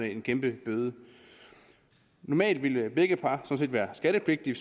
en kæmpe bøde normalt ville begge par sådan set være skattepligtige